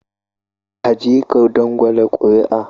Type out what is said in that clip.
Ka je ka dangwala kuri'a